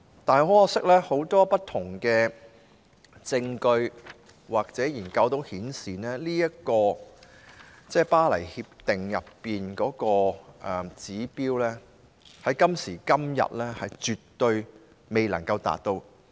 不過，很可惜，很多不同的證據或研究均顯示，《巴黎協定》的指標，在今時今日絕對無法達到。